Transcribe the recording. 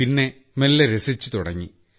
പിന്നെ മെല്ലെ രസിച്ചു തുടങ്ങി